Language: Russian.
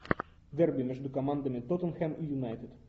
дерби между командами тоттенхэм и юнайтед